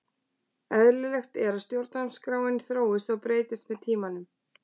Eðlilegt er að stjórnarskráin þróist og breytist með tímanum.